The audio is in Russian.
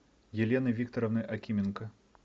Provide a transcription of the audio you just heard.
елены викторовны акименко